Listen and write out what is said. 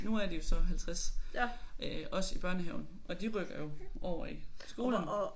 Nu er de jo så 50 øh også i børnehaven og de rykker jo over i skolen